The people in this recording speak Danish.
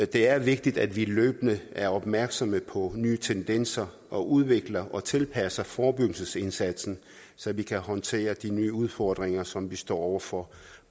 det er vigtigt at vi løbende er opmærksomme på nye tendenser og udvikler og tilpasser forebyggelsesindsatsen så vi kan håndtere de nye udfordringer som vi står over for